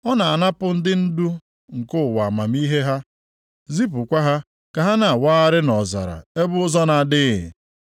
Ọ na-anapụ ndị ndu nke ụwa amamihe ha, zipụkwa ha ka ha na-awagharị nʼọzara ebe ụzọ na-adịghị.